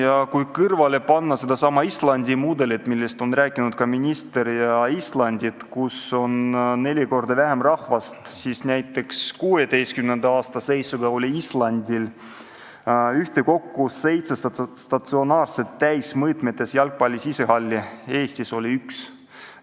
Ja kui siia kõrvale panna seesama Islandi mudel, millest on rääkinud ka minister – Islandil on neli korda vähem rahvast kui meil –, siis näiteks 2016. aasta seisuga oli Islandil ühtekokku 700 statsionaarset täismõõtmetes jalgpalli sisehalli, Eestis oli üks.